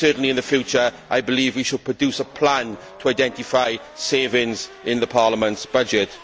In the future, I believe we should produce a plan to identify savings in Parliament's budget.